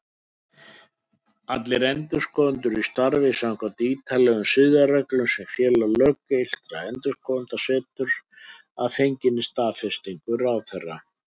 Allir endurskoðendur starfi samkvæmt ítarlegum siðareglum sem Félag löggiltra endurskoðenda setur, að fenginni staðfestingu ráðherra.